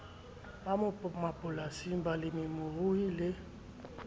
ba mapolasing balemi rui le